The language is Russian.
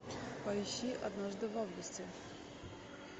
поищи однажды в августе